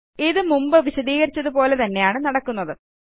ഇത് മുമ്പ് വിശദീകരിച്ചതുപോലെത്തന്നെയാണ് നടക്കുന്നത്